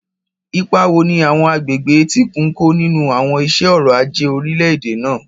Ipa wo ni àwọn agbègbè etíkun ń kó nínú àwọn iṣẹ́ ọrọ̀ ajé orílẹ̀-èdè náà?